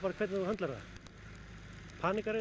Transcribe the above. hvernig þú höndlar það